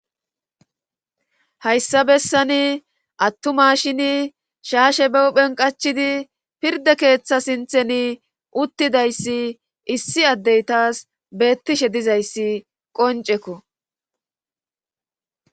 hayssa bessani attuma shini shaashe bewphen qachidi pirda keeththa sinthen uttidayssi issi addey taas beettishe dizayssi qoncekko